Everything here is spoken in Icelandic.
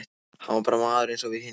Hann var bara maður eins og við hinir.